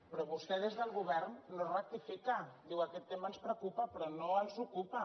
però vostè des del govern no rectifica diu aquest tema ens preocupa però no els ocupa